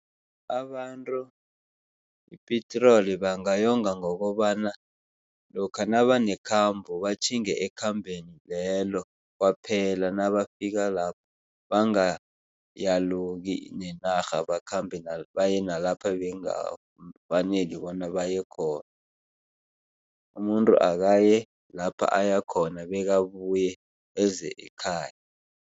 Abantu ipetroli bangayonga ngokobana lokha nabanekhambo batjhinge ekhambeni lelo kwaphela. Nabafika lapho bangayaluki nenarha bakhambe baye nalapha bengafaneli bona baye khona. Umuntu akaye lapha ayakhona bekabuye eze ekhaya.